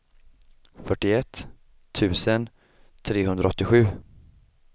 fyrtioett tusen trehundraåttiosju